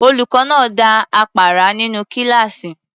Olùkọ́ náà dá àpárá nínú kíláàsì.